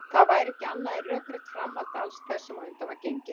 Það væri ekki annað en rökrétt framhald alls sem á undan var gengið.